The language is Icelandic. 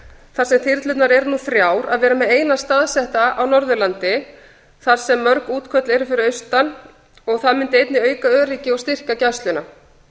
sem þyrlurnar eru nú þrjár að vera með eina þyrlu staðsetta á norðurlandi þar sem mörg útköll eru fyrir austan það mundi einnig auka öryggi og styrkja gæsluna